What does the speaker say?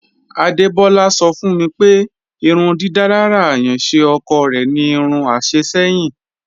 Adebọla sọ̀ fún mi pé ìrùndídalára ayànṣé ọ̀kọ̀ rẹ̀ ni irún àṣẹ̀ ṣẹ̀yìn.